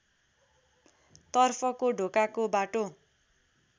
तर्फको ढोकाको बाटो